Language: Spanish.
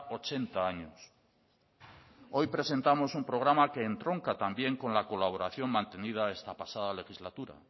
ochenta años hoy presentamos un programa que entronca también con la colaboración mantenida esta pasada legislatura